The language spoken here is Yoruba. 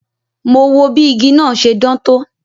Mo wo bí igi náà ṣe dán tó